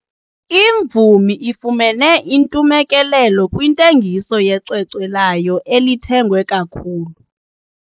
Imvumi ifumene intumekelelo kwintengiso yecwecwe layo elithengwe kakhulu.